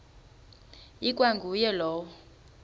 ikwa nguye lowo